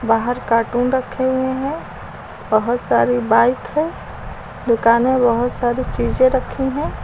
बाहर कार्टून रखे हुए हैं बहुत सारे बाइक है दुकानें बहुत सारी चीजें रखी हैं।